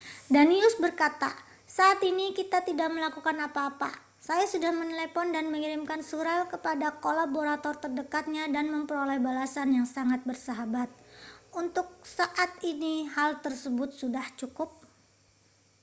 danius berkata saat ini kita tidak melakukan apa-apa saya sudah menelepon dan mengirimkan surel kepada kolaborator terdekatnya dan memperoleh balasan yang sangat bersahabat untuk saat ini hal tersebut sudah cukup